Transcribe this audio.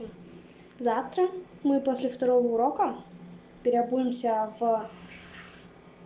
завтра мы после второго урока переобуемся в